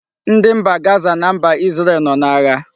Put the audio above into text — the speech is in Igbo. Ndi mba Gaza na mba Isreal no na-agha